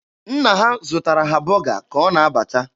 Nna ha zụtara ha bọga ka ọ na-abata.